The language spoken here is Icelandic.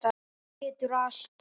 Þú getur allt.